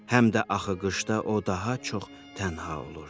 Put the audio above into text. Həm də axı qışda o daha çox tənha olurdu.